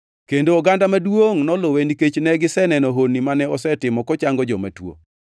kendo oganda maduongʼ noluwe nikech ne giseneno honni mane osetimo kochango joma tuo.